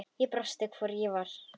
Ég brosti, hvort ég var!